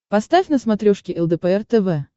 поставь на смотрешке лдпр тв